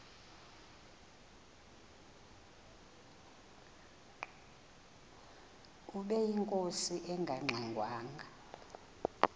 ubeyinkosi engangxe ngwanga